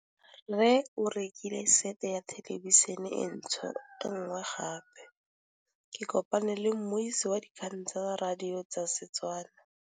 Rre o rekile sete ya thêlêbišênê e nngwe gape. Ke kopane mmuisi w dikgang tsa radio tsa Setswana.